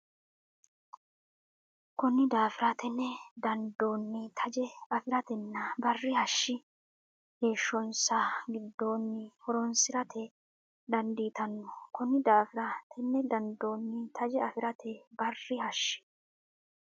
Konni daafira tenne dandoonni taje afi ratenna barri hashshi heeshshonsa giddoonni horonsi rate dandiitanno Konni daafira tenne dandoonni taje afi ratenna barri hashshi.